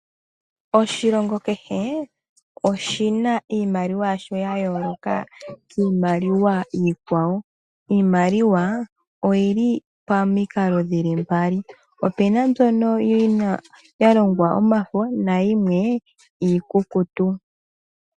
Oahilongo kehe oshina iimaliwa yasho ya yooloka kiimaliwa Iikwawo . Iimaliwa oyili pomikalo dhili mbali .opuna mbyono yalongwa omafo nayimwe iikukutu